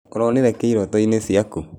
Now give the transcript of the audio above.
Ũronĩre kĩ ĩroto-ĩnĩ cĩakũ?